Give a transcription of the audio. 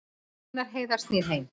Gunnar Heiðar snýr heim